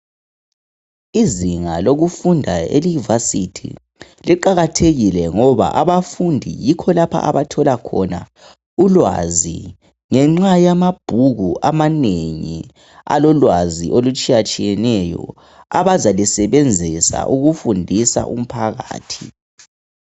izinga lokufunda elevarsity liqakathekile ngoba abafundi yikho lapho abathola khona ulwazi ngenxa yamabhuku amanengi alolwazi olutshiyatshiyeneyo abazalusebenzisa ukufundisa umphakathi